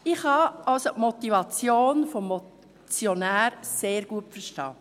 Ich kann also die Motivation des Motionärs sehr gut verstehen.